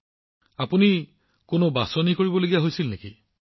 প্ৰধানমন্ত্ৰীঃ আপুনি কিবা বাছনি কৰিব লগা হৈছিল নেকি